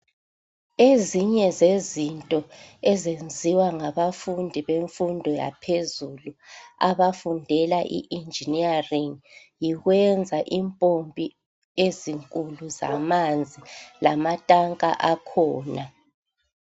Ezinye zezinto ezenziwa ngabafundi bemfundo yaphezulu abafundela i engineering .Yikwenza impompi ezinkulu zamanzi lamatanka akhona .